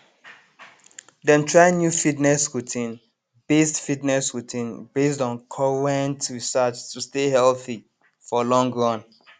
dem try new fitness routine based fitness routine based on current research to stay healthy for long run